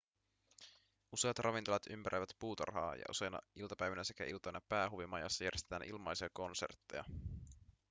useat ravintolat ympäröivät puutarhaa ja useina iltapäivinä sekä iltoina päähuvimajassa järjestetään ilmaisia konsertteja